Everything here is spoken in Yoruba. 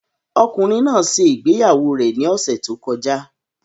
Ọkùnrin náà ṣe ìgbéyàwó rẹ̀ ní ọ̀sẹ̀ tó kọjá